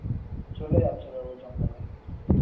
চলে যাচ্ছিল ও জঙ্গ`লে.